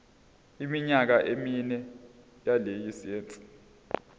iminyaka emine yelayisense